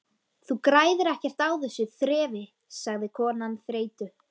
Þú græðir ekkert á þessu þrefi sagði konan þreytu